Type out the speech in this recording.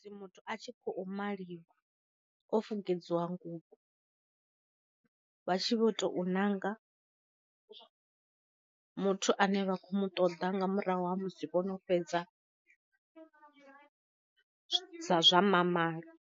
Muthu a tshi kho maliwa o fukedziwa nguvho, vha tshi vho to nanga muthu ane vha khou mu ṱoḓa nga murahu ha musi vho no fhedza zwa mamalo.